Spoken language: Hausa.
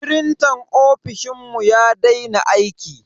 Frintan ofishinmu ya daina aiki.